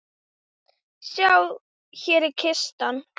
Sjá, hér er kistan.